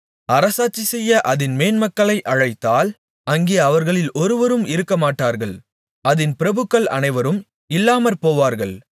அரசாட்சிசெய்ய அதின் மேன்மக்களை அழைத்தால் அங்கே அவர்களில் ஒருவரும் இருக்கமாட்டார்கள் அதின் பிரபுக்கள் அனைவரும் இல்லாமற்போவார்கள்